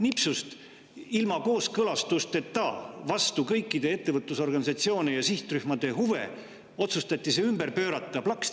Nipsust, ilma kooskõlastuseta, kõikide ettevõtlusorganisatsioonide ja sihtrühmade huvide vastaselt otsustati see ümber pöörata – plaksti!